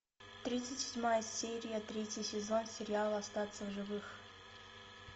тридцать седьмая серия третий сезон сериал остаться в живых